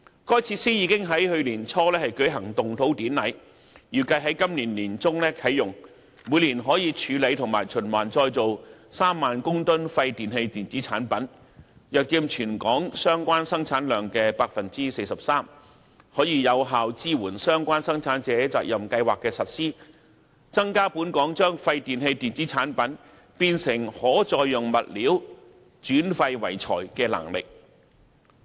該設施已經在去年年初舉行動土典禮，預計在今年年中啟用，每年可處理及循環再造3萬公噸廢電器電子產品，約佔全港相關生產量 43%， 可有效支援相關生產者責任計劃的實施，增加本港將廢電器電子產品變成可再用物料，轉廢為材的能力。